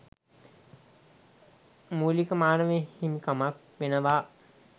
මූලික මානව හිමිකමක් වෙනවා.